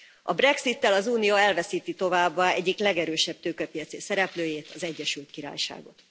A brexittel az Unió elveszíti továbbá egyik legerősebb tőkepiaci szereplőjét, az Egyesült Királyságot.